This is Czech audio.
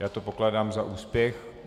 Já to pokládám za úspěch.